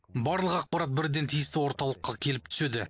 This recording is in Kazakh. барлық ақпарат бірден тиісті орталыққа келіп түседі